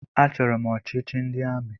Achọrọ m ọchịchị ndị amị.